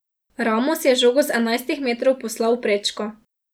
Ramos je žogo z enajstih metrov poslal v prečko.